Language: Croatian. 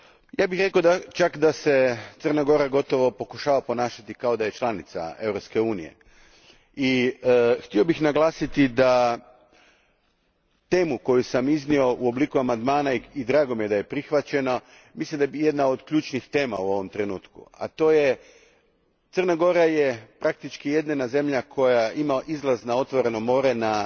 Ja bih čak rekao da se Crna Gora pokušava ponašati kao da je članica Europske unije i htio bih naglasiti da tema koju sam iznio u obliku amandmana i drago mi je da je prihvaćena, jedna je od ključnih u ovom trenutku, a to je Crna Gora praktički je jedina zemlja koja ima izlaz na otvoreno more na